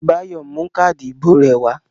Báyọ̀ mú káádì ìbò rẹ̀ wá.